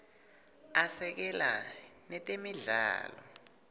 asekela netemidlalo